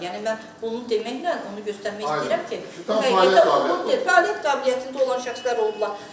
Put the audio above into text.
Yəni mən bunu deməklə onu göstərmək istəyirəm ki, bu fəaliyyət qabiliyyətində olan şəxslər olublar.